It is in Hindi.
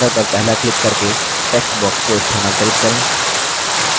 text box के border पर पहला क्लिक करके text box को स्थानांतरित करें